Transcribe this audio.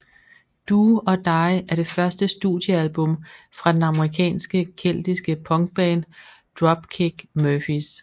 Do or Die er det første studiealbum fra den amerikanske keltiske punkband Dropkick Murphys